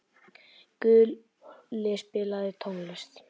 Gulli, spilaðu tónlist.